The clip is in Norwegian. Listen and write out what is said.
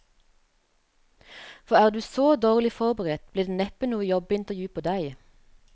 For er du så dårlig forberedt, blir det neppe noe jobbeintervju på deg.